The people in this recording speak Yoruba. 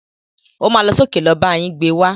O má lọ sókè lọ bá yín gbé wá.